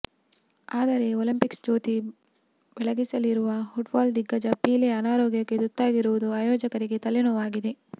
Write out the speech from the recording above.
ಆದರೆ ಒಲಿಂಪಿಕ್ ಜ್ಯೋತಿ ಬೆಳಗಿಸಲಿರುವ ಫುಟ್ಬಾಲ್ ದಿಗ್ಗಜ ಪೀಲೆ ಅನಾರೋಗ್ಯಕ್ಕೆ ತುತ್ತಾಗಿರುವುದು ಆಯೋಜಕರಿಗೆ ತಲೆನೋವಾಗಿದೆ